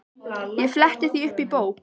Ég fletti því upp í bók.